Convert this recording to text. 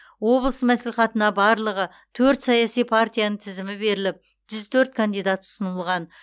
облыс мәслихатына барлығы төрт саяси партияның тізімі беріліп жүз төрт кандидат ұсынылған